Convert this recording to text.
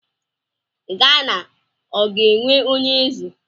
Gana ọ ga-enwe onye eze?